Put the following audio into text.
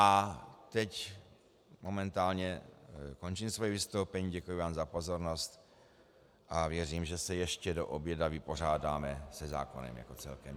A teď momentálně končím svoje vystoupení, děkuji vám za pozornost a věřím, že se ještě do oběda vypořádáme se zákonem jako celkem.